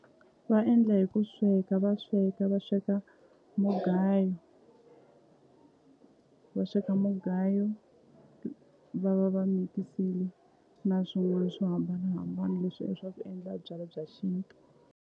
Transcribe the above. Va endla hi ku sweka va sweka va sweka mugayo va sweka mugayo va va va mikisile na swin'wana swo hambanahambana leswiya swa ku endla byala bya xintu.